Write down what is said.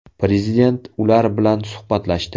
Prezident ular bilan suhbatlashdi.